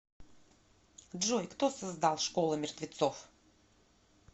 джой кто создал школа мертвецов